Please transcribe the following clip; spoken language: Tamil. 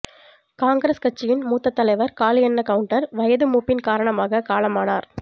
காங்கிரஸ் கட்சியின் மூத்த தலைவர் காளியண்ண கவுண்டர் வயது மூப்பின் காரணமாக காலமானார்